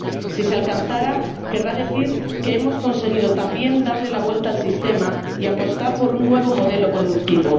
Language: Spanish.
Si se alcanzara, querrá decir que hemos conseguido también darle la vuelta al sistema y apostar por un nuevo modelo productivo.